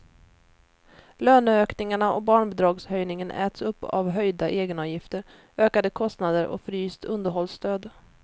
Löneökningarna och barnbidragshöjningen äts upp av höjda egenavgifter, ökade kostnader och fryst underhållsstöd.